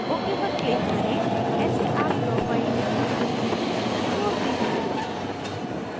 ok पर click करें ऐसे आप draw file में अपनी खुद की विशेषतायें जोड़ते हैं